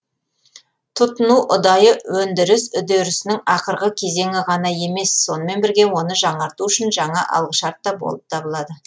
тұтыну ұдайы өндіріс үдерісінің ақырғы кезеңі ғана емес сонымен бірге оны жаңарту үшін жаңа алғышарт та болып табылады